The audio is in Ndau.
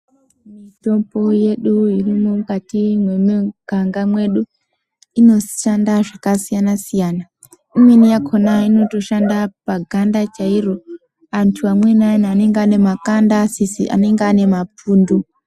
Mitombo yedu irimwo mukati mwemuganga mwedu inoshanda zvakasiyana siyana. Imweni yakhona inotoshanda paganda chairo. Antu amweni ayana anenge anemakanda anenge asizi anenge ane mapundu.